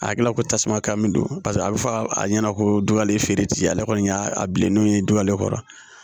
A hakilila ko tasuma kami don paseke a bɛ fɔ a ɲɛna ko dɔ le ye feere ti ale kɔni y'a bilennenw ye dugalen kɔrɔ